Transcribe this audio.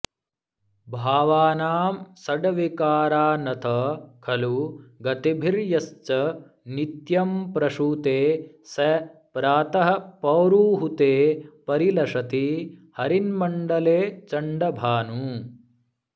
भावानां षड्विकारानथ खलु गतिभिर्यश्च नित्यं प्रसूते स प्रातः पौरुहूते परिलसति हरिन्मण्डले चण्डभानुः